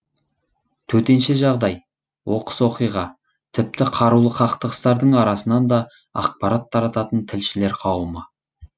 төтенше жағдай оқыс оқиға тіпті қарулы қақтығыстардың арасынан да ақпарат тарататын тілшілер қауымы